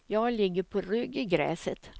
Jag ligger på rygg i gräset.